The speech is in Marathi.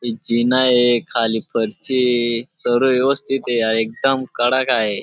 एक जीना ये खाली फरशी ये सर्व व्यवस्थित आहे एकदम कडक आहे.